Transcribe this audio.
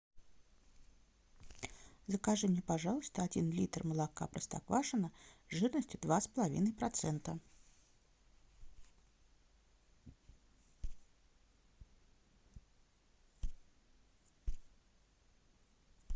закажи мне пожалуйста один литр молока простоквашино жирностью два с половиной процента